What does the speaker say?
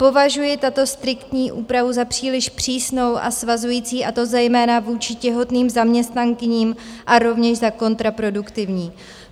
Považuji tuto striktní úpravu za příliš přísnou a svazující, a to zejména vůči těhotným zaměstnankyním, a rovněž za kontraproduktivní.